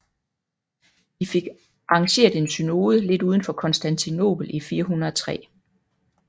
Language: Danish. De fik arrangeret en synode lidt uden for Konstantinopel i 403